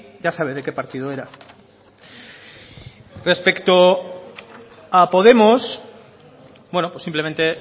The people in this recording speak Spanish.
ya sabe de qué partido era respecto a podemos bueno pues simplemente